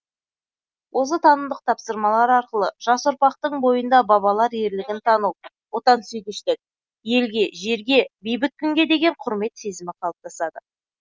осы танымдық тапсырмалар арқылы жас ұрпақтың бойында бабалар ерлігін тану отансүйгіштік елге жерге бейбіт күнге деген құрмет сезімі қалаптасады